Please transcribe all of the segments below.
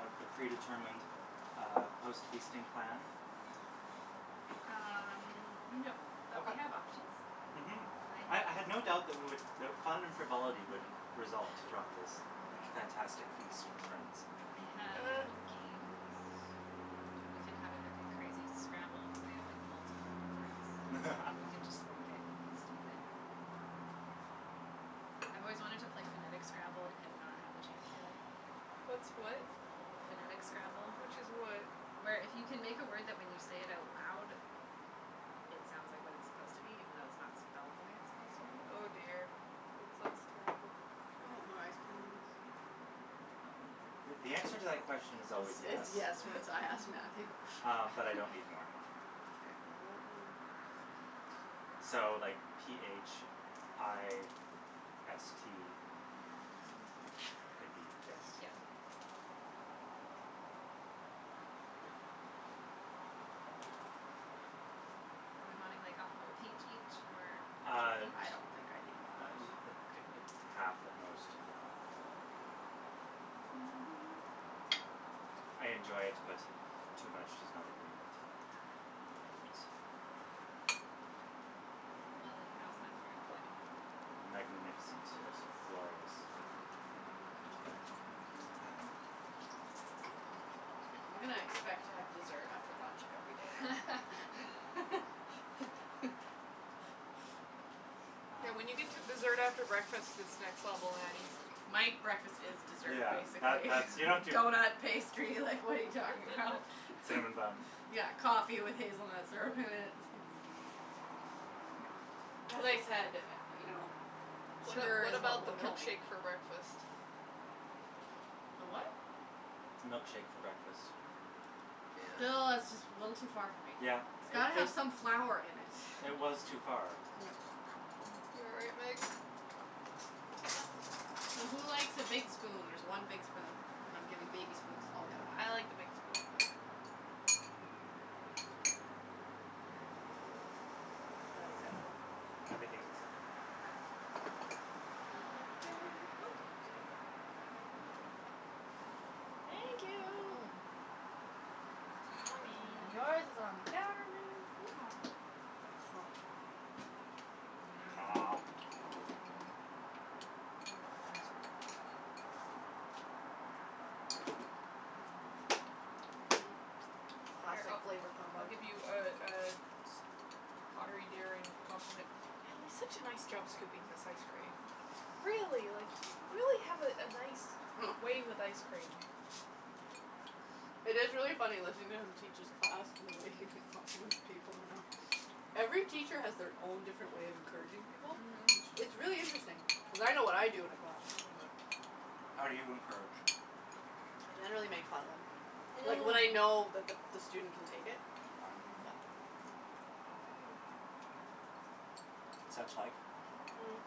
a a predetermined uh post feasting plan? Um, no, but we Okay. have options. Mhm. I I have I had no doubt that we would that fun and frivolity would result from this fantastic feast with friends. I have a Uh. couple games. We can have an epic, crazy Scrabble. Cuz I have, like, multiple boards and we can just, like, get stupid. Um, I've always wanted to play phonetic Scrabble and have not had the chance yet. What's what? Phonetic Scrabble. Which is what? Where if you can make a word that when you say it out loud it sounds like what it's supposed to be even though it's not spelled the way it's supposed to be. Oh, dear, that sounds terrible. You want more ice cream than this? Th- th- the answer to that question is always Is is yes. yes when it's I ask Matthew. Um, but I don't need more. K, well, what we'll Um, so, like, p h i s t could be fist? Yeah. Are we wanting, like, a whole peach each or half a Uh peach? I don't think I need that uh much. uh a Okay. half at most. I I Mkay. enjoy it, but too much does not agree with Ah. my innards. Well then, how's that for everybody? Magnificent. Delicious. Glorious. Ah. I'm gonna expect to have dessert after lunch every day now. Yes. Yeah, Um when you get to dessert after breakfast, it's next level, Nattie. My breakfast is dessert, Yeah, that basically. that's You don't do Donut, pastry, like, what are you talking about? Cinnamon bun. Yeah, coffee with hazelnut syrup in it. Mhm. As I said, you know, What sugar what is what about the will kill me. milkshake for breakfast? The what? Milkshake for breakfast. Yeah. Still, that's just a little too far for me. Yeah, It's it got to it have some flour in it. It was too far. Yeah. You all right, Meg? So, who likes a big spoon? There's one big spoon and I'm giving baby spoons to all the other ones. I like the big spoon. Okay. Is that acceptable? Everything's acceptable. K. Oop. Sorry. Thank you. Mm mm. On me. And yours is on the counter, Meagan. Yeehaw. Mmm. Mmm. Mmm. Noms. Noms. Mhm. Mhm. Here, I Classic flavor I'll combo. give you a a pottery daring compliment. Natalie, such a nice job scooping this ice cream. Really, like, you really have a a nice way with ice cream. It is really funny listening to him teach his class and the way he like compliments people, you know. Every teacher has their own different way of encouraging people. It's Mhm. it's really interesting. Cuz I know what I do in a classroom, but How do you encourage? I generally make fun of them. Like when I know that the the student can take it. Okay. Mhm. But Such like? Mm.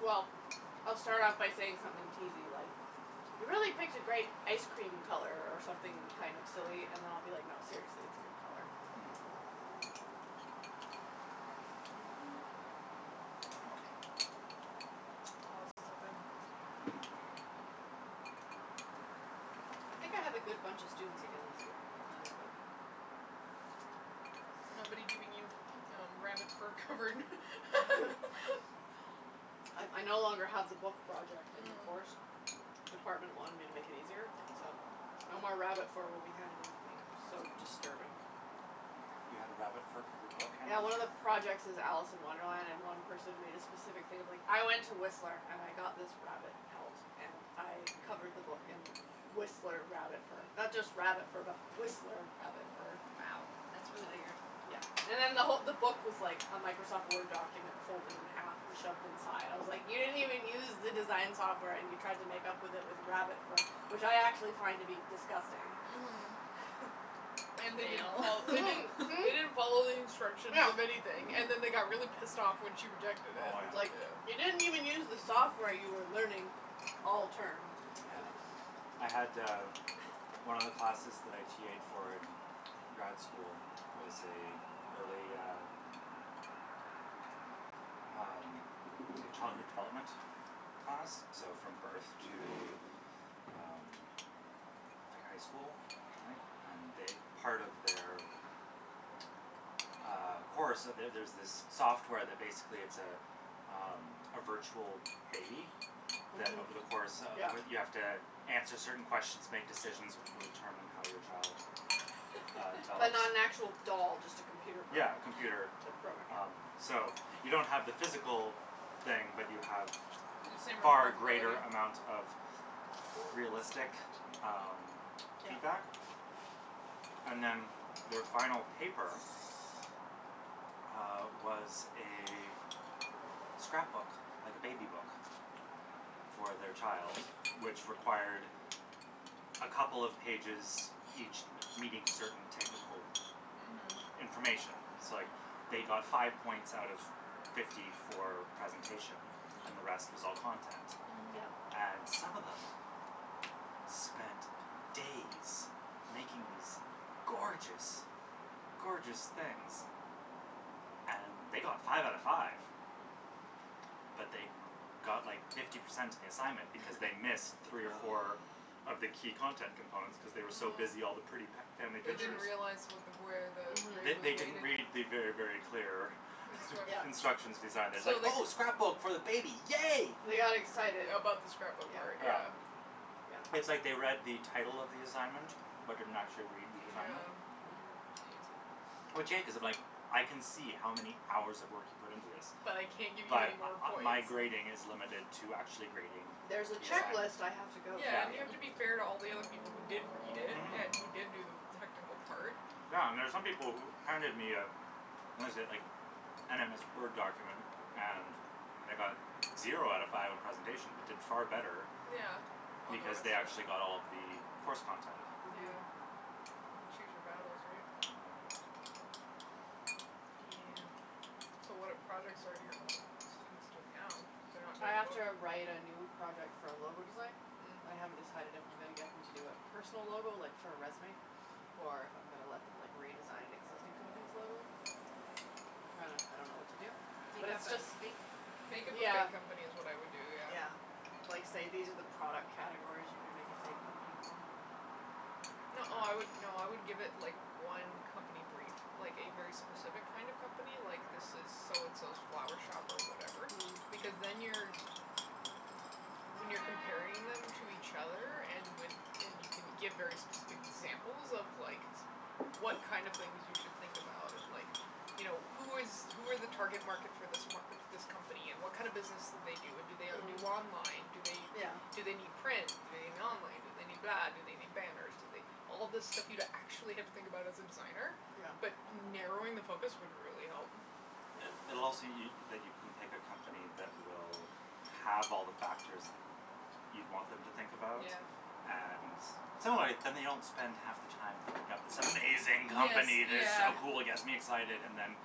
Well, I'll start off by saying something teasey, like, you really picked a great ice cream color, or something kind of silly. And I'll be like, no, seriously, it's a good color. Mhm. Too much. Oh this is so good. I think I have a good bunch of students again this year, so it's That's good. good. Nobody giving you rabbit fur covered I I no longer have the book project in the Mm. course. Department wanted me to make it easier, You're so welcome. no more rabbit fur will be handed in to me. That was That's so cool. disturbing. You had a rabbit fur covered book Yeah, one of the projects is Alice in Wonderland, and one person made a specific thing of like, I went to Whistler and I got this rabbit pelt and I covered the book in Whistler rabbit fur. Not just rabbit fur but Whistler rabbit fur. Wow, that's It's really like, weird. yeah And then the who- the book was like a Microsoft Word document folded in half and shoved inside. I was like, you didn't even use the design software and you tried to make up with it with rabbit fur, which I actually find to be disgusting. Mhm. And they didn't Fail. fol- they didn't Mhm, they didn't follow mhm. the instructions Yeah. of anything and then they got really pissed off when she rejected it, Oh, I was yeah. like, you yeah. didn't even use the software you were learning all term. Yeah. I had, uh, one of the classes that I TA'ed for in grad school was a early, uh, um, like, childhood development class, so from birth to, um, like, high school, I think. And they part of their, uh, course So there's this software that basically it's a, um, a virtual baby that Mhm. over the course of Yeah. You have to answer certain questions, make decisions which will determine how your child, uh, But develops. not an actual doll, just a computer Yeah, program. computer, The program, um, yeah. so you don't have the physical thing, but you have The same far greater responsibility. amount of This is the realistic, half chair. um, Yeah. feedback. And then their final paper uh, was a scrapbook, like a baby book for their child, which required a couple of pages, each me- meeting certain technical Mhm. Mhm. information. So, like, they got five points out of fifty for presentation and the rest Mm. was all content. Mhm. Yeah. And some of them spent days making these gorgeous, gorgeous things and they got five out of five But they got like fifty percent on the assignment because they missed three or four Oh. of the key content components cuz they were so busy all the pretty Oh. fa- family They didn't pictures. realize Hmm. what the where the They grade was they Mhm. didn't weighted. read the very, very clear Yeah. Instructions. instructions design. It was like, So they c- "Oh, scrapbook for the baby, yay!" They got excited. About the scrapbook part, Yeah. Yeah. yeah. It's like they read the Yeah. title of the assignment, but didn't actually read the assignment. Yeah. Hmm. Geez. Which, yeah, cuz if, like, I can see how many hours of work you put into this, But I can't give you any but more uh points. my grading is limited to actually grading There's a the assignment. checklist I have Yeah. to go Yeah, Yeah. through and you here. have to be fair to all the other people who did read it Mhm. and who did do the technical part. Yeah, and there's some people who handed me a what is it, like, an MS Word document and they got zero out of five on presentation but did far better Yeah, on the because rest they of actually it. got all of the course content. Mhm. Yeah. Kind of choose your battles, right? Mhm. Yeah. Yeah. So, what projects are your students doing now? They're not I doing a have book? to write a new project for a logo design, and I haven't Mm. decided if I'm gonna get them to do a personal logo, like, for a resume, or if I'm gonna let them, like, redesign an existing company's logo. I'm trying to I don't know what to do. But Make it's up a just fake Make company. up a Yeah. fake company is what I'd do, yeah. Yeah. Like, say these are the product categories you can make a fake company for and No, I would, no, I would give it, like, one company brief, like a very specific kind of company, like, this is so and so's flower shop or whatever because Mm. then you're When you're comparing them to each other and with and you can give very specific examples of, like, what kind of things you should think about and, like, you know, who is who are the target market for this m- this company and what kind of business do they do and do they do Mm. online, do they Yeah. do they need print, do they need online, do they need that, do they need banners, do they All this stuff you'd actually have to think about as a designer, Yeah. but narrowing the focus would really help. Yeah. It it'll also y- that you can pick a company that will have all the factors that you'd want them to think about. Yeah. And so, anyway, then they don't spend half the time thinking up this amazing Yes, company that's yeah. so cool, gets me excited and then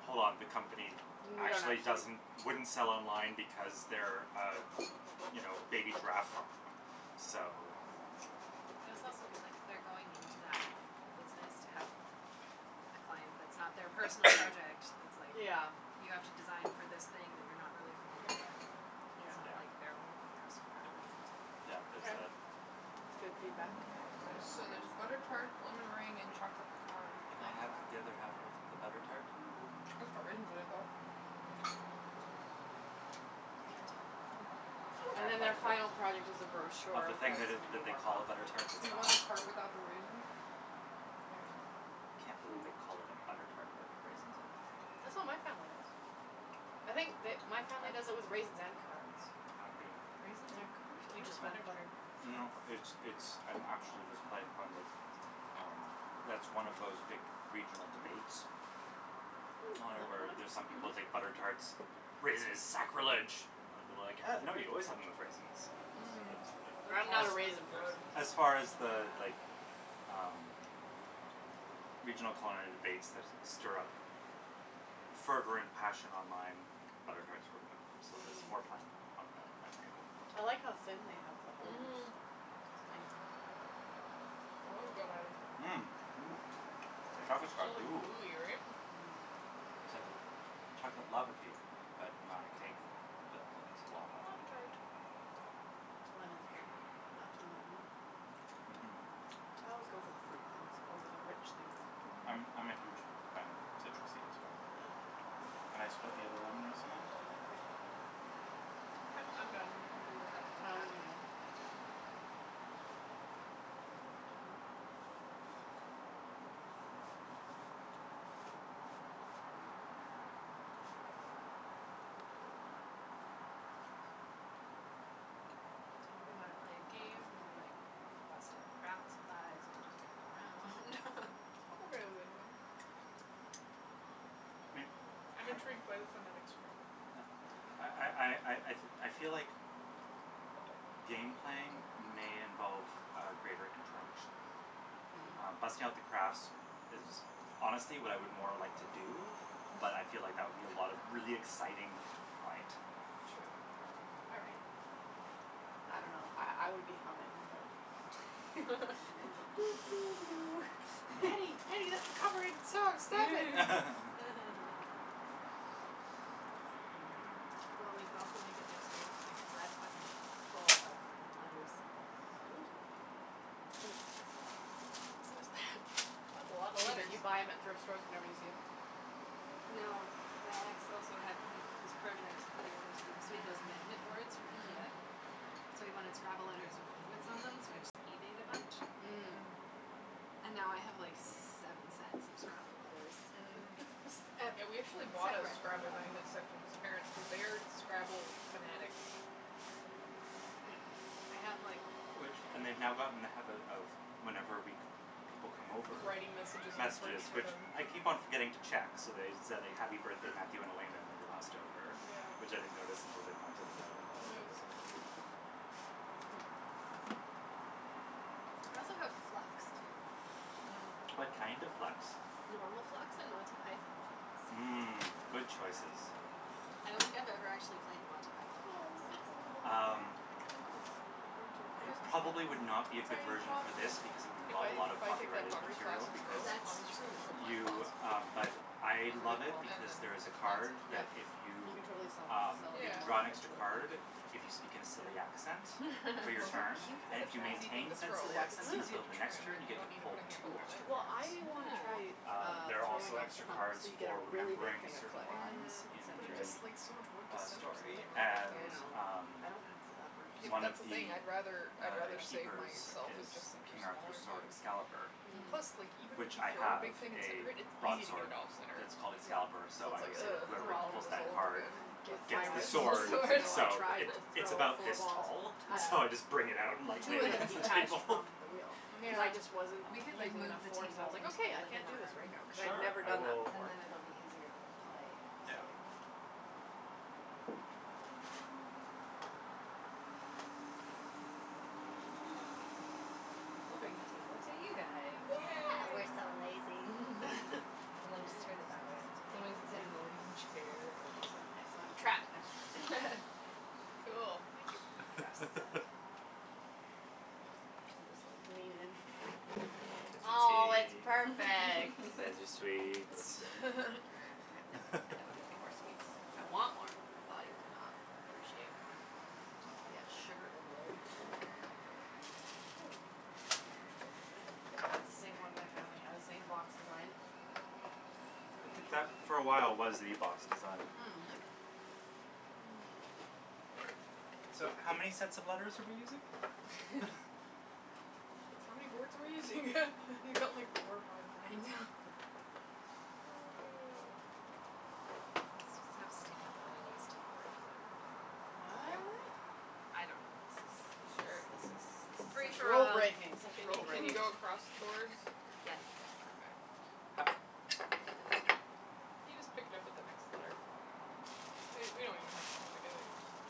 hold on, the company Yeah, and actually actually doesn't wouldn't sell online because they're a, you know, a baby giraffe farm, so Hmm. And I it's think also that good, that like, if they're going into that business to have a client that's not their personal project that's, like, Yeah. you have to design for this thing that you're not really familiar with, Yeah. it's not Yeah. like their own personal Y- preference into it. yeah, there's Okay. that. That's good Oh, feedback. yeah, I forgot There's about the so there's butter tarts. tart, lemon meringue and chocolate pecan. Can Oh, I have wow. Oh, the other half of the yeah. butter tart? Mm mhm. It's got raisins in it, though. Hmm. Can I And have a then their bite of it, final product is a of the brochure thing that that's gonna be that they more call a butter complicated, tart that's but You want not? the part without the raisin? There you I go. can't believe they call it a butter tart but they put raisins in it. That's what my family does. I think the my family does it I with raisins and currants. I'm being Raisins are Yeah. crucial Do you Or- to just n- want butter butter. tarts. No, it's it's, I'm actually just playing fun that, um that's one of those big regional Mhm. debates, Mm, lemon where one? there's some people think Mhm. butter tarts, raisins is Oh, sacrilege. I would be like, uh these no, are very you good. always have them with raisins. Mm. And That I'm as not a chocolate one is raisin good. person, so as Oh, far as my the, god. like, um, regional Mm. culinary debates that stir up fervent passion online, butter tarts were one of them, so I was Mhm. more playing on the memory of the thing. I like how thin they have the holders. Mhm. That is good item. Mmm. Ooh, Right. chocolate's It's Right? got all goo. gooey, right? Mmm. It's like a chocolate lava cake but not a cake but lots of lava. Lava tart. Lemon's good. Not too lemony. Mhm. I always go for the fruit things over the rich things. Mhm. I'm I'm a huge Mm. fan of citrusy as well. Yeah. Can I split the other lemon with someone? I'm I'll I'm have done. Do I'll whatever. have the I other only half of need it. one. Oh, my god. So, do we wanna play a game or, like, bust out craft supplies and just goof around? I'm okay with anything. May- I'm par- intrigued by the phonetic Scrabble. yeah I I Okay. I I I feel like game playing may involve a greater interaction. Um, Mm. busting out the crafts is honestly what I would more like to do, but I feel like that would be a lot of really exciting quiet. True. All right. I don't know, I I would be humming, but Nattie, Nattie, that's a copyrighted song, stop it! Well, we could also make it extra interesting cuz that's fucking full of letters. Ooh. So is that. That's a lotta You but letters. you buy them at thrift stores whenever you see them? No, my ex also had he this project that he wanted to do. So he had those magnet boards from Mm. Ikea, Mm. so he wanted Scrabble letters with magnets on them, so I just eBayed a bunch Mm. Mm. and now I have, like, seven sets of Scrabble letters. Mhm. S- ep- Yeah, we actually bought a separate Scrabble from. magnet set for his parents cuz they are Scrabble fanatics. Hmm. I have, like Which and they've now gotten in the habit of, whenever we c- people come over, Writing messages on the fridge messages for which them. I keep on forgetting to check, so they said "happy birthday, Matthew and Elena" when we were last over, which Yeah. I didn't notice until they pointed it out on the last That was day. so cute. Hmm. I also have Flux, too, if we want to play What Mm. that. kind of Flux? Normal Flux and Monty Python Flux. I Mm, don't good I choices. don't know what any I don't think of I've these ever are. actually played the Monty Python Flux on Oh, look this at the little ca- Um, thing. the cactus in the winter it Christmas probably would not cactus. be a good Tiny version pot for for this because it that. would If involve a I lot if of I take that copyrighted pottery class material in because Turo, That's I'm just going true. to throw plant you, pots um, but I and That's a love then good it call. and because then there is a put plants in card them. that Yep. if You you, can totally sell them um, sell you it have for to more draw an when there's a extra Yeah. little plant card, in it. if you speak in a silly accent They're for your so It's so turn cute, cute And like if such you an that. easy thing maintain to said throw, silly like, it's accent Mm. easier until to the next turn, right, turn, you you get to don't need to pull put a handle two on it. extra Well, cards. I wanna try, Oh. Um, uh, there are also throwing off the extra hump cards so you get a for really big remembering a thing of certain clay lines Mm, and in but it center it. just, like, so much work the, to uh, center something story like that, and, though. I know. um I don't have the upper Yeah, but One of strength. that's the thing. the, I'd rather uh, I'd rather save keepers myself That's is and just center King Arthur's smaller sword, things. Excalibur, Mm. Plus, like, Mhm. even if which you I throw a have big thing and center a it, it's easy to get broadsword it off center, that's called Yeah. Excalibur, so so it's I like, always say that oh, I whoever have Well, to do pulls this all that over card again. with Gets my gets the the wrist, actual two sword, weeks sword. ago I so tried it to it's throw about four this balls. tall, so I just Yeah. bring it out and, like, lay Two it of them against the detached table. from the wheel cuz I just wasn't Um. We Yeah. could, like, using enough move the force. I was table like, into okay, the I can't living do this right room. now, cuz I had Sure, never I done that will And before. then it'll be easier to So, play. Yeah. silly. We'll bring the table to you guys. Yeah, we're Yay. so lazy. And then just turn it that way. Someone Angle, can sit in the angle. living room chair and Excellent, excellent, trapped now. Cool. Thank you. Now you're stuck. I'll just like lean in. There's Oh, your it's tea. perfect. There's your sweets. uh-huh, no, I don't need anymore sweets. I want more. My body will not appreciate more. It'll Oh. be at sugar overload. Mhm. That's the same one my family has, same box design. I think that for a while was the box design. Hmm. So, how many sets of letters are we using? How many boards are we using? You've got like four or five I boards. know. Oh. Let's just have stupid fun on these two boards, then when we're all Okay. What? I don't know, This is this Sure. this is is this this is is free such for rule all. breaking, Can such you rule can you breaking. go across the boards? Yes. Okay. Ho- okay. You just pick it up with the next letter. We we don't even have to put them together, you just have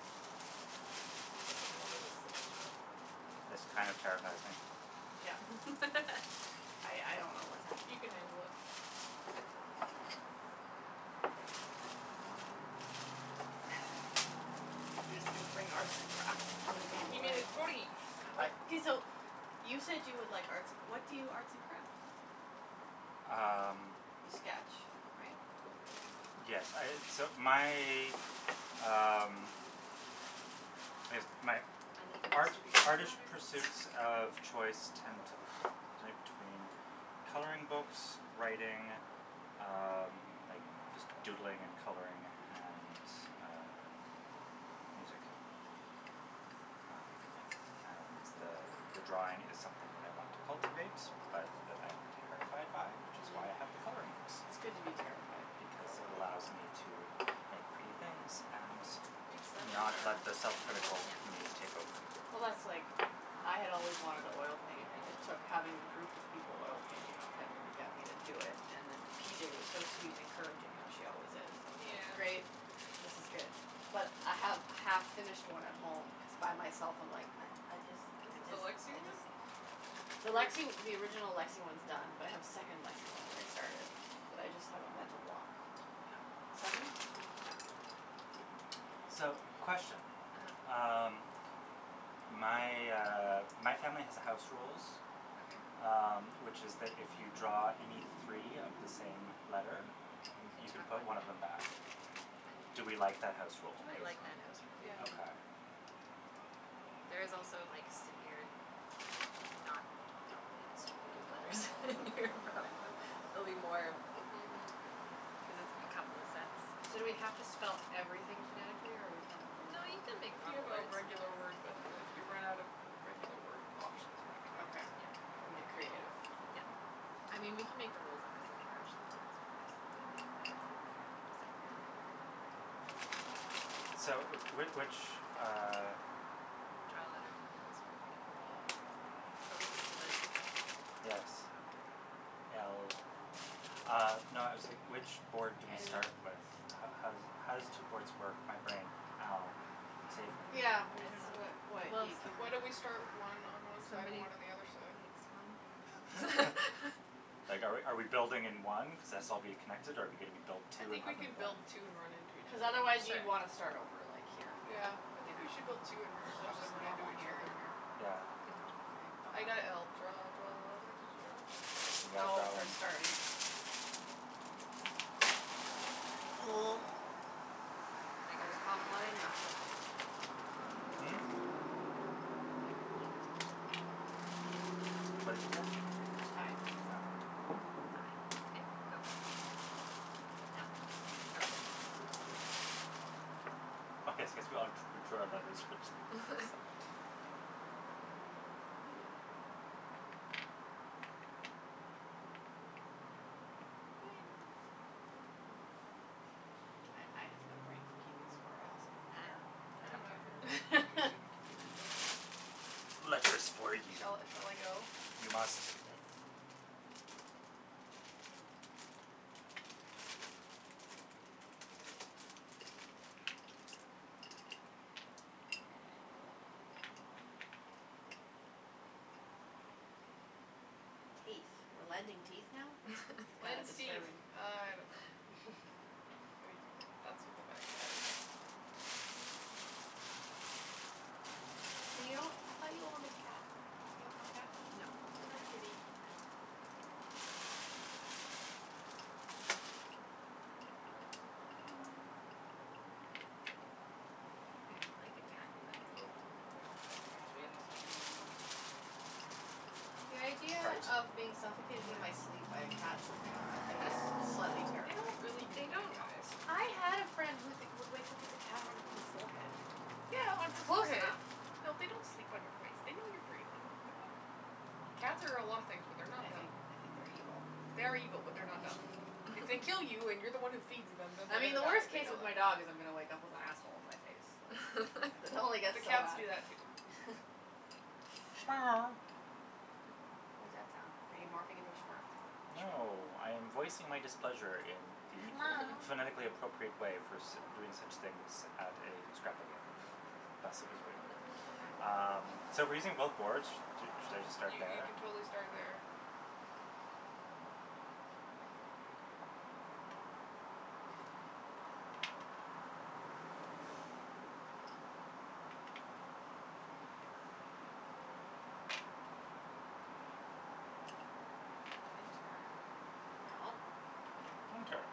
you just have to know that it's the next row. This kind of terrifies me. I I don't know what's happening. He can handle it. He's just gonna bring arts and crafts to the game He made plan. a totey. I Okay, so, you said you would like arts and cr- what do you arts and craft? Um You sketch, right? Yes, I, so my, um, I guess my Uneven art- distribution of artish letters. pursuits of choice tend to to between coloring books, writing, um, like just doodling and coloring and, uh, music. Um, and the, uh, the the drawing is something that I want to cultivate, but that I am terrified by, which is why I have the Mhm. coloring books, It's good to be terrified for because a while. it allows me to make pretty things and We take seven not or let the self critical Yeah. me take over. Well, that's like, I had always wanted to oil paint and it took having a group of people oil painting on pender to get me to do it. And then P J was so sweet and encouraging, how she always is. I was like, Yeah. great, this is good. But I have a half finished one at home cuz by myself I'm like, I I just, I Is it the just, Lexie I one? just. The Lexie the original Lexie one's done, but I have a second Lexie one that I started, Mm. but I just have a mental block. Seven? Yeah. So, question. uh-huh. Um, my, uh, my family has a house rules, Okay. um, which is that if you draw any three of the same letter, You you can can chuck put one one of them back? back. I Do we like that house I think rule? I like that house so, yeah. rule. Okay. Mm. There is also like severe not properly distributed letters in here, probably. There'll be more Mhm. cuz it's a couple of sets. So do we have to spell everything phonetically, or are we playing No, normal you something can make If you normal have a words. regular word, but if you run out of regular word options, maybe. Okay. Yeah. You can do You can whatever get you want. creative. Yeah. Mm. I mean, we can make the rules up cuz I've never actually played this before, so we can just have K fun. So, w- which, uh Draw a letter for who goes fir- I got a b. Closest Okay. to the top Yes. of the alphabet. L Uh no, I was like, which board do we start with? L How how does it how does two boards work? My brain. Ow. Save me. Yeah, I it's don't what know. what Well, you can Why don't we start one on one side and somebody one on the other side? picks one, I don't know. Like, are we are we building in one cuz its all'll be connected, or are we gonna be build I two and think we have them can build blend? two and run into each Cuz other. otherwise you'd Sure. want to start over, like, here. Yeah, I Yeah. think we should build two So, and let let them just run into normal each here and other. here? Yeah? Good call. I Okay. K. got l. Draw, draw a letter. Did you go? You guys Oh, all for in starting. I got a Most b common when letter I in the grabbed alphabet. one. Mm? I got a b that time. What'd you get? Tie. Yeah? I. Okay, go for it. Oh. Oh. Oh, yes yes, we all d- drew our letters which I saw. I I have no brain for keeping score. I also don't Eh, care. I I I don't don't don't know care care if Okay. we're either way. interested in keeping score. Letters for you. Shall I shall I go? You must. Yes. Teeth? We're lending teeth now? That is Lends teeth. disturbing. I don't know. Wait, that's what the bag had. Ooh. You I thought you owned a cat. You have no cat? No. No kitty. Okay. I would like a cat, but Oh. Oh. Got got three of the same one. The idea Trout? of being suffocated in my sleep Yes. by a cat sleeping on my face is slightly They don't terrifying. really do They that, don't all guys. do I had a that. friend who would wake up with a cat on her forehead. Yeah, on It's her close forehead. enough. No, they don't sleep on your face. They know you're breathing. They're not Cats are a lot of things, but they're not I think dumb. I think they're evil. They are evil, but they're not dumb. If they kill you and you're the one who feeds them, then they're I mean, gonna the die, worst they case know with my that. dog is I'm gonna wake up with asshole on my face. I Like, don't it know. only The gets so cats bad. do that, too. What that sound? Are you morphing into a Smurf? No, I am voicing my displeasure in the phonetically appropriate way for sit- doing such things at a Scrabble game. Thus Okay. it was written. Okay. Um, so we're using both boards? Do should I just start You you there? can totally start there. Winter. No. Winter.